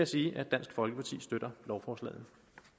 sige at dansk folkeparti støtter lovforslaget